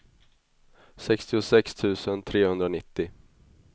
sextiosex tusen trehundranittio